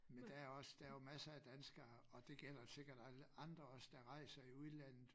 Men der er også der er jo masser af danskere og det gælder sikkert alle andre også der rejser i udlandet